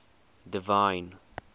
divine